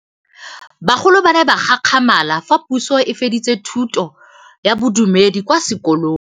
Bagolo ba ne ba gakgamala fa Pusô e fedisa thutô ya Bodumedi kwa dikolong.